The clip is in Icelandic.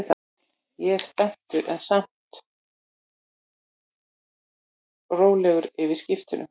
Ég er spenntur en samt rólegur yfir skiptunum.